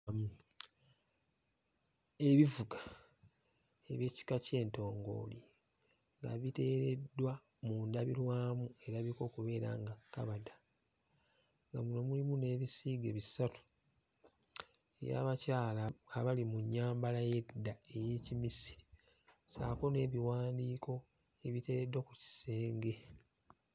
Ebivuga eby'ekika ky'entongooli nga biteereddwa mu ndabirwamu erabika okubeera nga kkabada nga muno mulimu n'ebisiige bisatu eby'abakyala abali mu nnyambala ey'edda ey'Ekimisiri ssaako n'ebiiwandiiko ebiteereddwa ku kisenge.